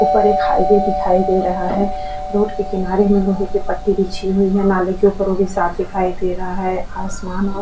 उपर एक हाईवे दिखाई दे रहा है रोड के किनारे मै ओ देखिये पट्टी भी खिची हुई है नाले के उपर ओ भी साफ़ दिखाई दे रहा है आसमान और --